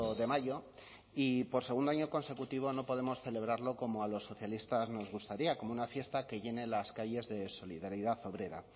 de mayo y por segundo año consecutivo no podemos celebrarlo como a los socialistas nos gustaría como una fiesta que llene las calles de solidaridad obrera